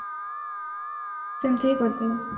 ସେମିତି ହିଁ କରିଦେବା